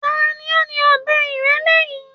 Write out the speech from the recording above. Ta ni ó ni ọbẹ ìrẹ́lé yìí